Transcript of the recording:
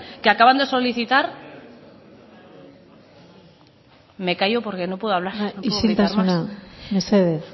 que acaban de solicitar me callo porque no puedo hablar isiltasuna mesedez